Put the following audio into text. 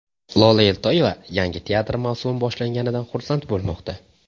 Lola Eltoyeva yangi teatr mavsumi boshlanganidan xursand bo‘lmoqda.